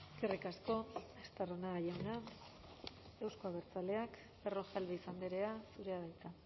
eskerrik asko estarrona jauna euzko abertzaleak berrojalbiz andrea zurea da hitza